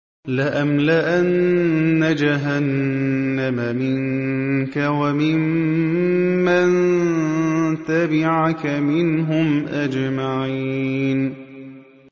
لَأَمْلَأَنَّ جَهَنَّمَ مِنكَ وَمِمَّن تَبِعَكَ مِنْهُمْ أَجْمَعِينَ